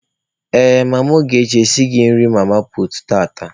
Ee, mama Ogechi esighị nri mama puutu tata.